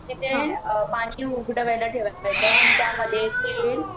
तिथे पानी उकडवायला ठेवायचं आणि त्या मध्ये तेल